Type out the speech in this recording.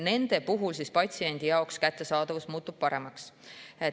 Nende ravimite kättesaadavus patsiendile muutub paremaks.